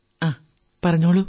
ങാ പറയൂ